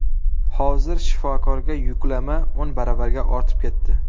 Hozir shifokorga yuklama o‘n baravarga ortib ketdi.